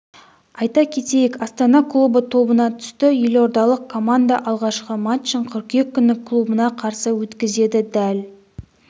айта кетейік астана клубы тобына түсті елордалық команда алғашқы матчын қыркүйек күні клубына қарсы өткізеді дәл